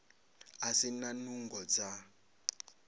a si na nungo dza